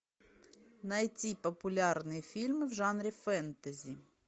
найти популярные фильмы в жанре фэнтези